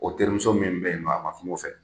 O terimuso min bɛ yen nɔ a kuma o fɛ